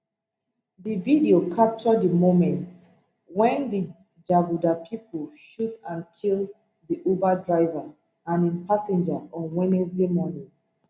di video capture di moments wen di jaguda pipo shoot and kill di uber driver and im passenger on wednesday morning